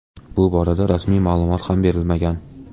Bu borada rasmiy ma’lumot ham berilmagan.